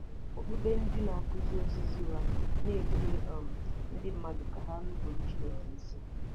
Okpukpe ndị na-akụzi ozizi ụgha na-eduhie um ndị mmadụ ka ha nupụrụ Chineke isi.